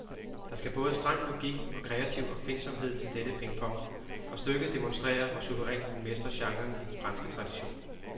Der skal både streng logik og kreativ opfindsomhed til dette pingpong, og stykket demonstrerer, hvor suverænt man mestrer genren i den franske tradition.